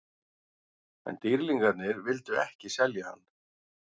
En Dýrlingarnir vildu ekki selja hann.